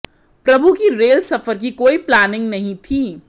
प्रभु की रेल सफर की कोई प्लानिंग नहीं थी